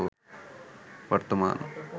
বর্তমান